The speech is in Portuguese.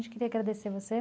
queria agradecer você.